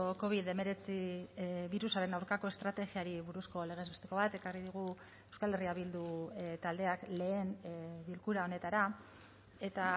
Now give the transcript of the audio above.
covid hemeretzi birusaren aurkako estrategiari buruzko legez besteko bat ekarri dugu euskal herria bildu taldeak lehen bilkura honetara eta